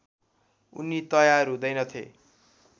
उनी तयार हुँदैनथे